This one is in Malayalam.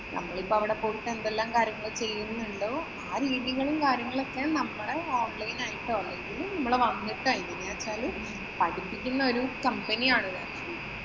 നമ്മളിപ്പം അവിടെ പോയിട്ട് എന്തെല്ലാം കാര്യങ്ങള് ചെയ്യുന്നുണ്ടോ ആ രീതികളും, കാര്യങ്ങളുമൊക്കെ നമ്മുടെ online ആയിട്ടോ, അല്ലെങ്കില് നമ്മള് വന്നിട്ടോ എങ്ങനെയെന്നു വച്ചാല് പഠിപ്പിക്കുന്ന ഒരു company ആണിത്.